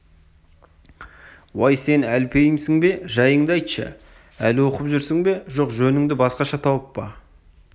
уай сен әлпейімсің бе жайыңды айтшы әлі наху оқып жүрсің бе жоқ жөніңді басқаша тауып па